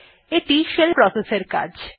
এইটি shell process এর কাজ